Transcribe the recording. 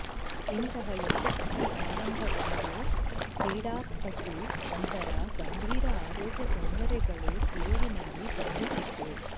ಇಂತಹ ಯಶಸ್ವಿ ಆರಂಭಗೊಂಡು ಕ್ರೀಡಾಪಟು ನಂತರ ಗಂಭೀರ ಆರೋಗ್ಯ ತೊಂದರೆಗಳು ತಿರುವಿನಲ್ಲಿ ಕಾಯುತ್ತಿದೆ